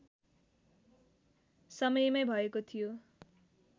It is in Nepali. समयमै भएको थियो